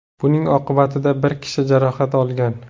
Buning oqibatida bir kishi jarohat olgan.